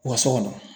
U ka so kɔnɔ